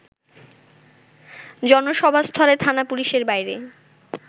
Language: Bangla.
জনসভাস্থলে থানা পুলিশের বাইরে